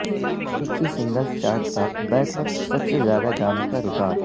امریکی singles chart پربیک وقت سب سے زیادہ گانوں کا ریکارڈ